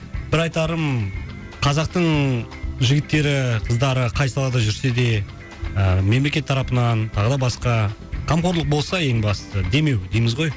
бір айтарым қазақтың ңңң жігіттері ііі қыздары қай салада жүрсе де ыыы мемлекет тарапынан тағы да басқа қамқорлық болса ең бастысы демеу дейміз ғой